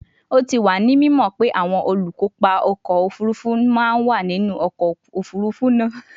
O ti wa ni mimo pe awọn olukopa ọkọ ofurufu ma wa ninu ọkọ ofurufu naa